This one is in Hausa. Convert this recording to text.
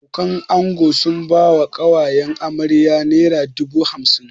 Abokanan ango sun bai wa ƙawayen amarya naira dubu hamsin